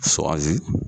Sɔ